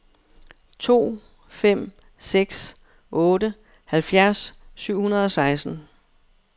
to fem seks otte halvfjerds syv hundrede og seksten